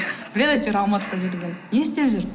біледі әйтеуір алматыда жүргенімді не істеп жүр